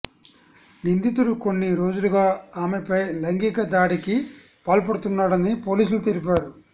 నిందితుడు కొన్ని రోజులుగా ఆమెపై లైంగిక దాడికి పాల్పడుతున్నాడని పోలీసులు తెలిపారు